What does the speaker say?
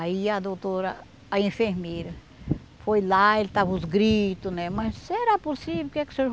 Aí a doutora, a enfermeira, foi lá, ele estava os gritos, né, mas será possível que é que o senhor